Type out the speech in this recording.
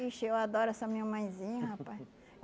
Ixi, eu adoro essa minha mãezinha, rapaz.